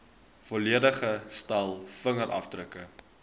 volledige stel vingerafdrukke